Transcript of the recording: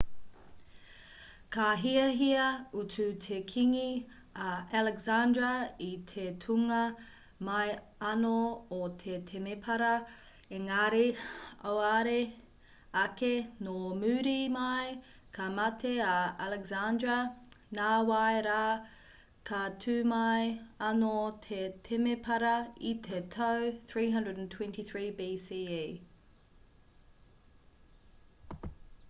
ka hiahia utu te kīngi a alexandra i te tūnga mai anō o te temepara engari auare ake nō muri mai ka mate a alexandra nāwai rā ka tū mai anō te temepara i te tau 323 bce